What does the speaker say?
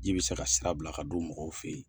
Ji bɛ se ka sira bila ka don mɔgɔw fɛ yen